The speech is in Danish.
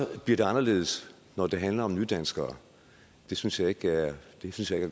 bliver det anderledes når det handler om nydanskere det synes jeg ikke er